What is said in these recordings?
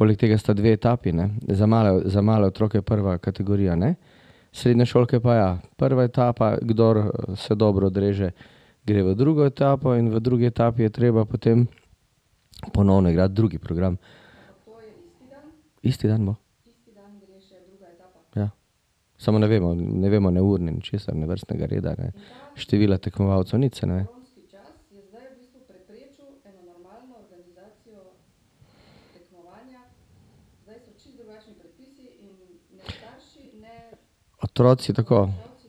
Poleg tega sta dve etapi, ne. Za za male otroke, prva kategorija, ne, srednješolke pa ja. Prva etapa, kdor se dobro odreže, gre v drugo etapo in v drugi etapi je treba potem ponovno igrati drug program. Isti dan bo. Ja. Samo ne vemo, ne vemo ne ur ne ničesar, ne vrstnega reda, ne števila tekmovalcev, nič se ne ve. Otroci, tako.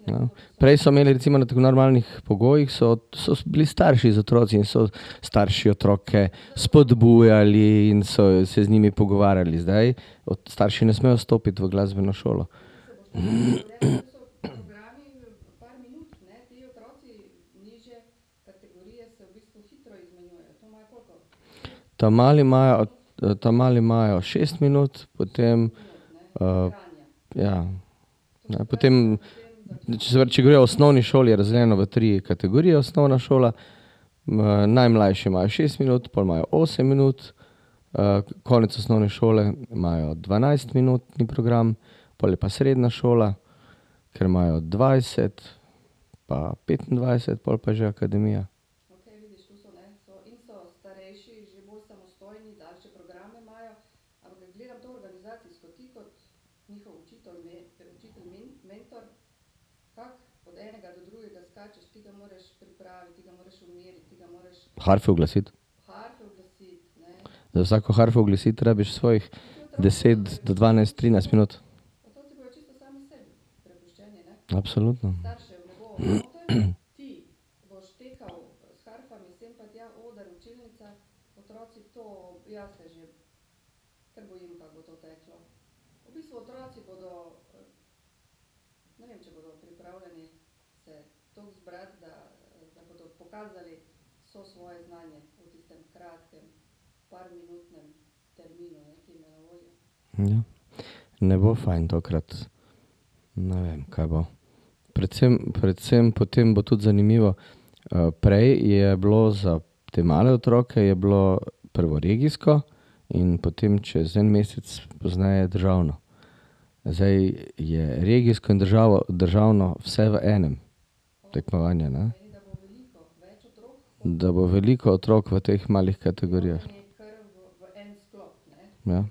Ja. Prej so imeli recimo na v normalnih pogojih, so, so bili starši z otroki. So starši otroke spodbujali in so se z njimi pogovarjali. Zdaj starši ne smejo stopiti v glasbeno šolo. Ta mali imajo, ta mali imajo šest minut, potem, ja, potem se če gledava osnovni šoli, je razdeljeno v tri kategorije osnovna šola. najmlajši imajo šest minut, pol imajo osem minut, konec osnovne šole imajo dvanajstminutni program. Pol je pa srednja šola, kjer imajo dvajset pa petindvajset, pol je pa že akademija. Harfe uglasiti. Za vsako harfo uglasiti rabiš svojih deset do dvanajst, trinajst minut. Absolutno. Ja. Ne bo fajn tokrat. Ne vem, kaj bo. Predvsem, predvsem potem bo tudi zanimivo, prej je bilo za te male otroke, je bilo prvo regijsko in potem čez en mesec pozneje državno. Zdaj je regijsko in državno vse v enem tekmovanju, ne. Da bo veliko otrok v teh malih kategorijah. Ja.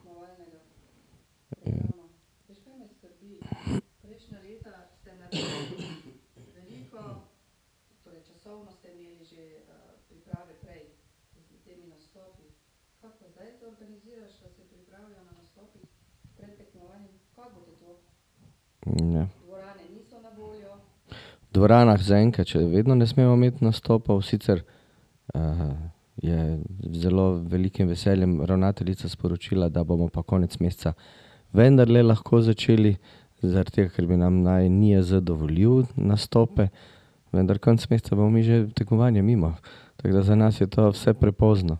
V dvoranah zaenkrat še vedno ne smemo imeti nastopov. Sicer, je z zelo velikim veseljem ravnateljica sporočila, da bomo pa konec meseca vendarle lahko začeli, zaradi tega, ker bi nam naj NIJZ dovolili nastope. Vendar konec meseca bomo mi že tekmovanje mimo. Tako da za nas je to vse prepozno.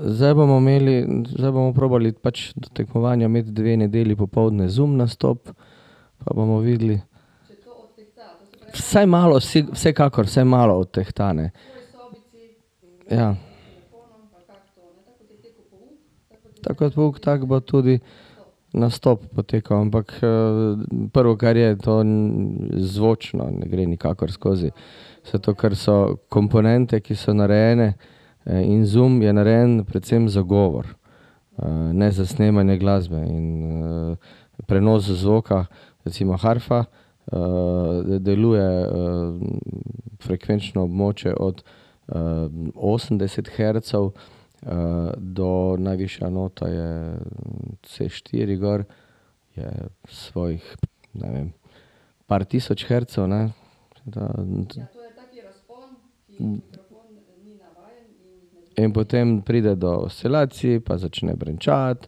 zdaj bomo imeli, zdaj bomo probali pač do tekmovanja imeti dve nedelji popoldne Zoom nastop, pa bomo videli. Vsaj malo vsekakor vsaj malo odtehta, ne. Ja. Tako kot pouk, tako bo tudi nastop potekal. Ampak, prvo, kar je, to zvočno ne gre nikakor skozi. Zato ker so komponente, ki so narejene, in Zoom je narejen predvsem za govor, ne za snemanje glasbe. In, prenos zvoka, recimo harfa, deluje, frekvenčno območje od, osemdeset hercev, do, najvišja nota je c štiri gor, je svojih, ne vem, par tisoč hercev, ne. Tako da ... In potem pride do oscilacij, pa začne brenčati,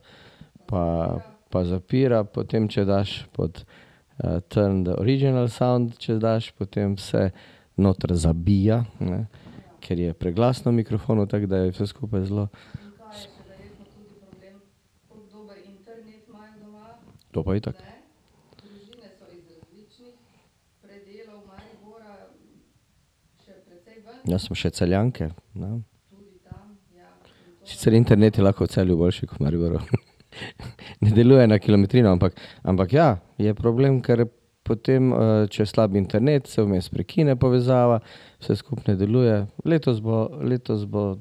pa, pa zapira potem, če daš pod, tam da original sound, če daš, potem se noter zabija, ne, ker je preglasno mikrofonu. Tako da je vse skupaj zelo ... To pa itak. Ja, smo še Celjanke, ne. Sicer internet je lahko v Celju boljši kot v Mariboru. Ne deluje na kilometrino. Ampak ja, je problem, ker potem, če je slab internet, se vmes prekine povezava, vse skupaj ne deluje. Letos bo, letos bo ...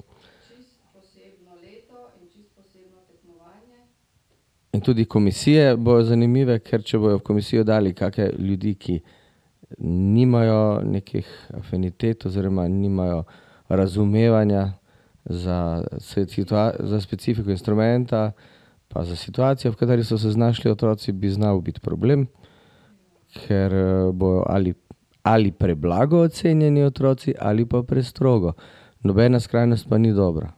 In tudi komisije bojo zanimive, ker če bojo v komisijo dali kakšne ljudi, ki nimajo nekih afinitet oziroma nimajo razumevanja za za specifiko instrumenta pa za situacijo, v kateri so se znašli otroci, bi znalo biti problem, ker, bojo ali ali preblago ocenjeni otroci ali pa prestrogo. Nobena skrajnost pa ni dobra.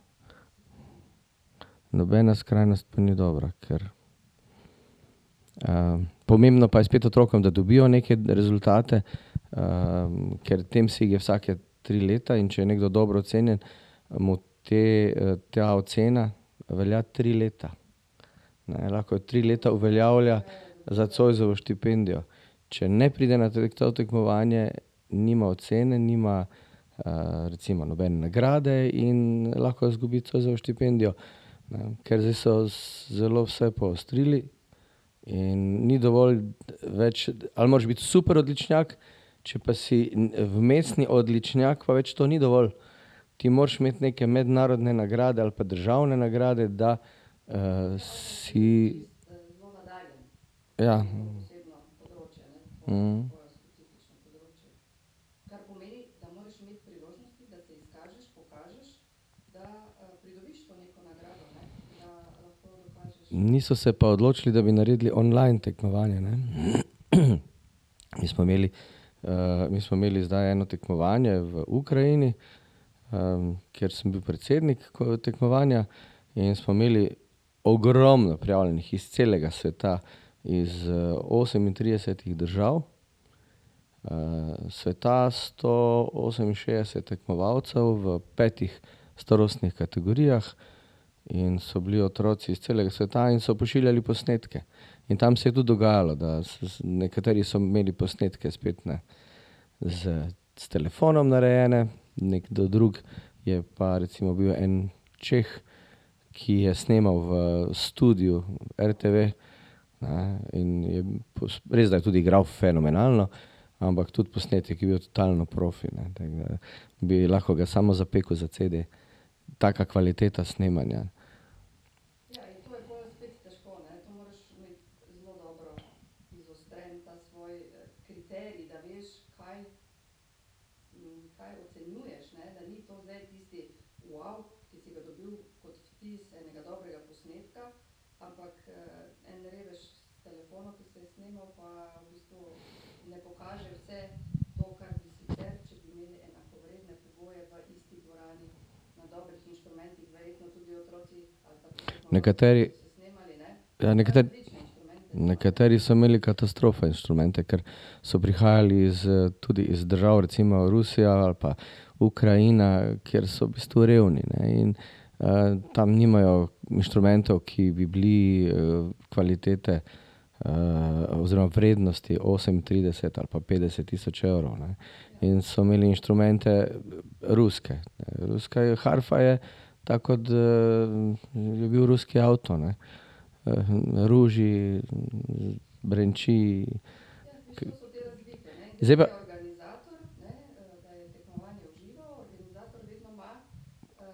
Nobena skrajnost pa ni dobra, ker, pomembno pa je spet otrokom, da dobijo neke rezultate, ker Temsig je vsaka tri leta, in če je nekdo dobro ocenjen, mu te, ta ocena velja tri leta, ne, lahko jo tri leta uveljavlja za zoisovo štipendijo. Če ne pride na to tekmovanje, nima ocene, nima, recimo nobene nagrade in lahko izgubi zoisovo štipendijo. Ker zdaj so zelo vse poostrili in ni dovolj več ... Ali moraš biti super odličnjak če pa si vmesni odličnjak, pa več to ni dovolj. Ti moraš imeti neke mednarodne nagrade ali pa državne nagrade, da, si ... Niso se pa odločili, da bi naredili online tekmovanje, ne. Mi smo imeli, mi smo imeli zdaj eno tekmovanje v Ukrajini, kjer sem bil predsednik tekmovanja. In smo imeli ogromno prijavljenih iz celega sveta, iz, osemintridesetih držav, sveta. Sto oseminšestdeset tekmovalcev v petih starostnih kategorijah in so bili otroci iz celega sveta in so pošiljali posnetke. In tam se je tudi dogajalo, da nekateri so imeli posnetke spet, ne, s telefonom narejene, nekdo drug, je pa recimo bil en Čeh, ki je snemal v studiu RTV, eni, in je ... Res, da je tudi igral fenomenalno, ampak tudi posnetek je bil totalno profi, ne, tako da bi lahko ga samo zapekel za cede. Taka kvaliteta snemanja. Nekateri ... Ja, nekateri ... Nekateri so imeli katastrofa instrumente, ker so prihajali iz, tudi iz držav, recimo Rusija ali pa Ukrajina, kjer so v bistvu revni, ne, in, tam nimajo inštrumentov, ki bi bili, kvalitete, oziroma vrednosti osemintrideset ali pa petdeset tisoč evrov, ne. In so imeli inštrumente ruske. Ruska je harfa je tako, kot, je bil ruski avto, ne. ruži, brenči, ... Zdaj pa ...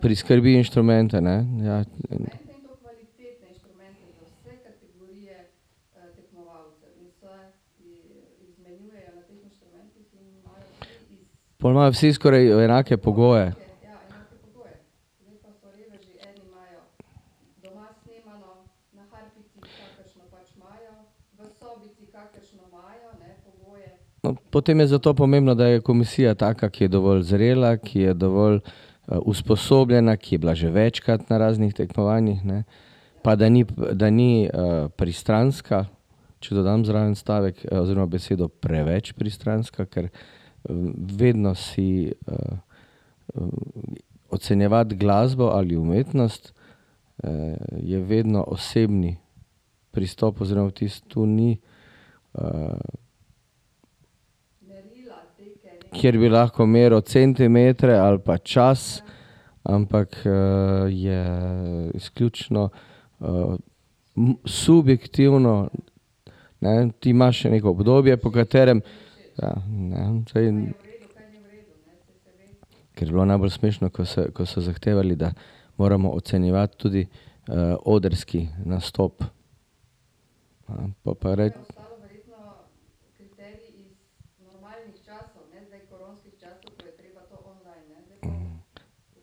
Priskrbi inštrumente, ne. Ja. Pol imajo vsi skoraj enake pogoje. No, potem je zato pomembno, da je komisija taka, ki je dovolj zrela, ki je dovolj, usposobljena, ki je bila že večkrat na raznih tekmovanjih, ne. Pa da ni, da ni, pristranska. Če dodam zraven stavek oziroma besedo preveč pristranska, ker, vedno si, ocenjevati glasbo ali umetnost, je vedno osebni pristop oziroma vtis. Tu ni, ... Kjer bi lahko meril centimetre ali pa čas, ampak, je izključno, subjektivno, ne. Ti imaš neko obdobje, po katerem ... Ja, ne. Saj ... Ker je bilo najbolj smešno, ko se, ko so zahtevali, da moramo ocenjevati tudi, odrski nastop. po pa je rek...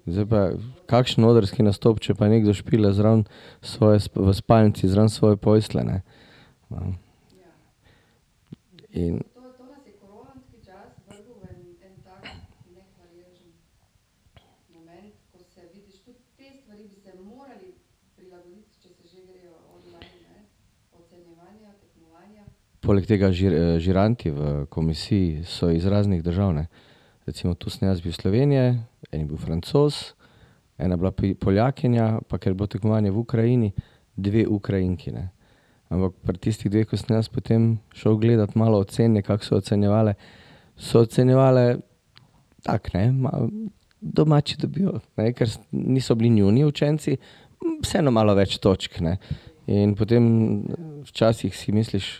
Zdaj pa kakšen odrski nastop, če pa nekdo špila zraven svoje v spalnici zraven svoje postelje, ne. Ne. In ... Poleg tega žiranti v komisiji so iz raznih držav, ne. Recimo tu sem jaz bil iz Slovenije, en je bil Francoz, ena je bila Poljakinja, pa ker je bilo tekmovanje v Ukrajini, dve Ukrajinki, ne. Ampak pri tistih dveh, ko sem jaz potem šel gledat malo ocene, kako so ocenjevale, so ocenjevale tako, ne, malo domači dobijo, ne. Ker niso bili njuni učenci, vseeno malo več točk, ne. In potem včasih si misliš: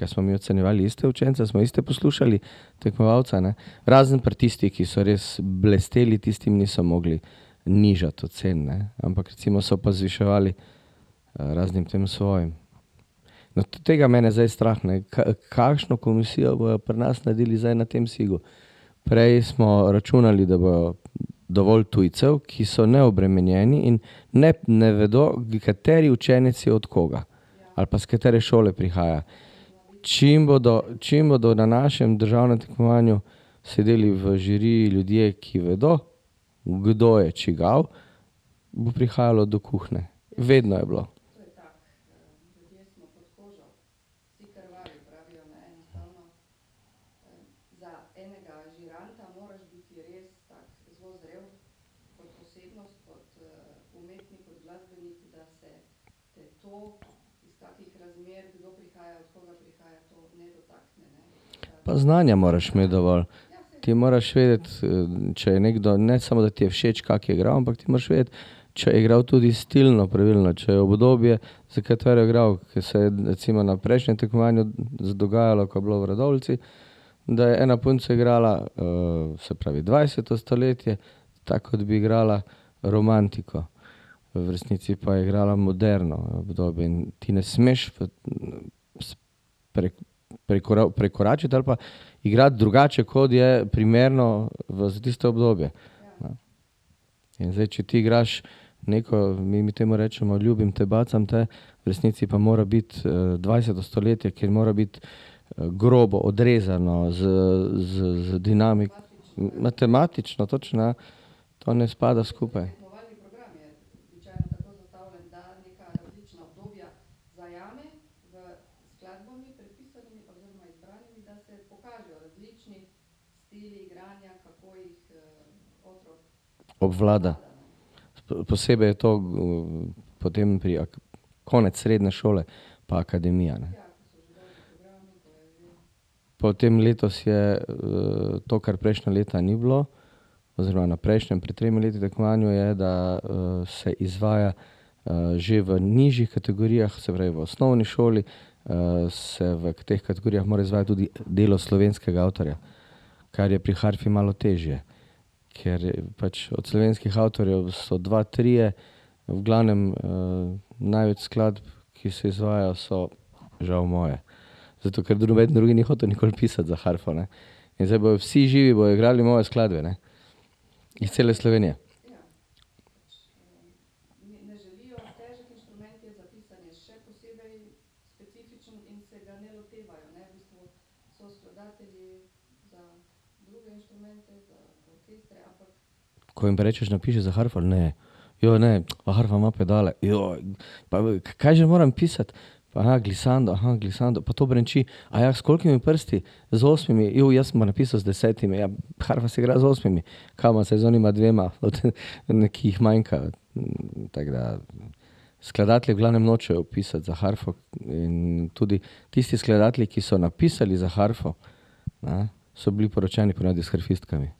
kaj smo mi ocenjevali iste učence, smo iste poslušali tekmovalca, ne." Razen pri tistih, ki so res blesteli, tistim niso mogli nižati ocen, ne. Ampak recimo so pa zviševali, raznim tem svojim. No, tega je mene zdaj strah, ne. Kakšno komisijo bojo pri nas naredili zdaj na Temsigu. Prej smo računali, da bo dovolj tujcev, ki so neobremenjeni in, ne, ne vedo, kateri učenec je od koga. Ali pa s katere šole prihaja. Čim bodo, čim bodo na našem državnem tekmovanju sedeli v žiriji ljudje, ki vedo, kdo je čigav, bo prihajalo do kuhinje. Vedno je bilo. Pa znanja moraš imeti dovolj. Ti moraš vedeti, če je nekdo, ne samo da ti je všeč, kako igra, ampak ti moraš vedeti, če je igral tudi stilno pravilno, če je obdobje, za katero je igral, ke se je recimo na prejšnjem tekmovanju dogajalo, ko je bilo v Radovljici, da je ena punca igrala, se pravi dvajseto stoletje, tako kot bi igrala romantiko, v resnici pa je igrala moderno obdobje. In ti ne smeš prekoračiti ali pa igrati drugače, kot je primerno v za tisto obdobje. Ne? In zdaj, če ti igraš neko, mi, mi temu rečemo "ljubim te, bacam te", v resnici pa mora biti, dvajseto stoletje, kjer mora biti grobo, odrezano, z, z dinami... Matematično, točno ja. To ne spada skupaj. Obvlada. Posebej to, potem pri konec srednje šole pa akademija, ne. Potem letos je, to, kar prejšnja leta ni bilo, oziroma na prejšnjem, pred tremi leti tekmovanju, je, da, se izvaja, že v nižjih kategorijah, se pravi v osnovni šoli, se v teh kategorijah mora izvajati tudi delo slovenskega avtorja. Kar je pri harfi malo težje, ker pač od slovenskih avtorjev so dva, trije, v glavnem, največ skladb, ki se izvajajo, so žal moje. Zato ker noben drugi ni hotel nikoli pisati za harfo, ne. In zdaj bojo vsi živi bojo igrali moje skladbe, ne. Iz cele Slovenije. Ko jim pa rečeš: "Napiši za harfo." Ne. ne. A harfa ima pedale? pa kaj že moram pisati? glissando, glissando. Pa to brenči. s koliko prsti? Z osmimi. jaz sem pa napisal z desetimi. Ja, harfa se igra z osmimi. Kaj bom zdaj z onima dvema, ki jih manjka? tako da skladatelji v glavnem nočejo pisati za harfo in tudi tisti skladatelji, ki so napisali za harfo, ne, so bili poročeni po navadi s harfistkami.